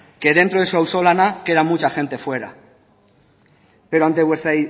que dentro de su auzolana queda mucha gente fuera pero ante vuestra